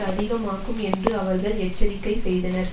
அதிகமாக்கும் என்று அவர்கள் எச்சரிக்கை செய்தனர்